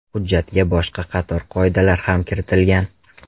Hujjatga boshqa qator qoidalar ham kiritilgan.